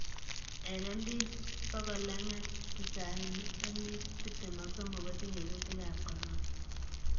eng mps 290,MPs 23kotinyei kuutikab korona.